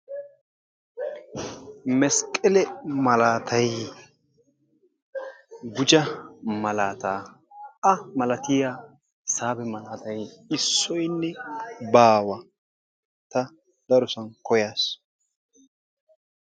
Mesqqele malatay gujja malaata A malatiya hisaabe malaatay issoynne baawa ta darosan koyaas.